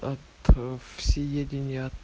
от всеедения